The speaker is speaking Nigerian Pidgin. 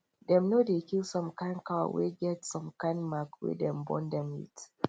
dem no dey kill some kind cow wey get some kind mark wey dem born dem with